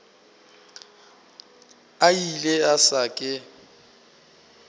a ile a se ke